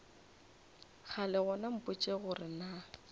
kgale gona mpotše gore na